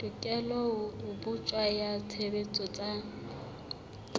tekolo botjha ya tshebetso tsa